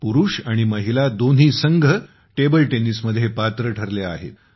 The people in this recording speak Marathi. पुरुष आणि महिला दोन्ही संघ टेबल टेनिसमध्ये पात्र ठरले आहेत